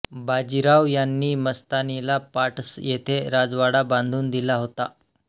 बाजीराव यांनी मस्तानीला पाटस येथे राजवाडा बांधून दिला होता